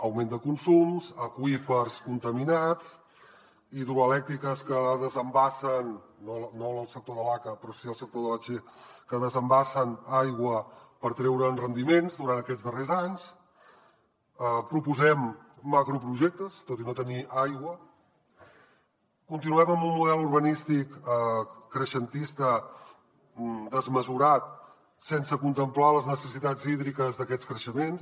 augment de consums aqüífers contaminats hidroelèctriques no del sector de l’aca però sí del sector de la che que desembassen aigua per treure’n rendiments durant aquests darrers anys proposem macroprojectes tot i no tenir aigua continuem amb un model urbanístic creixentista desmesurat sense contemplar les necessitats hídriques d’aquests creixements